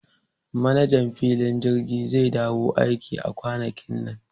Manajan filin jirgi zai dawo aiki a kwanakin nan